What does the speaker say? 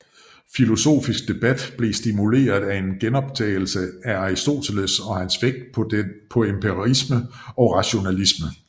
Filosofisk debat blev stimuleret af genopdagelsen af Aristoteles og hans vægt på emperisme og rationalisme